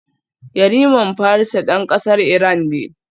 Yariman Farisa dan kasar Iran ne